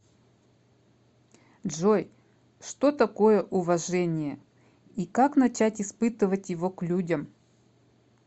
джой что такое уважение и как начать испытывать его к людям